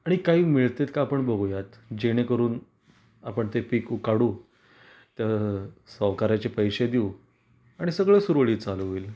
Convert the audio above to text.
आणि काही मिळतेत का आपण बघुयात, जेणे करून आपण ते पिकू उखाडू तर सावकाराचे पैसे देऊ आणि सगळं सुरळीत चालू होईल.